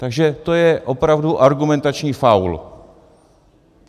Takže to je opravdu argumentační faul.